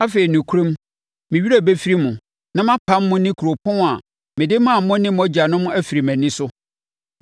Afei, nokorɛm, me werɛ bɛfiri mo, na mapam mo ne kuropɔn a mede maa mo ne mo agyanom afiri mʼani so.